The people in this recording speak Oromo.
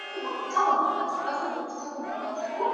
Bakka gurgurtaa konkolaataa Kun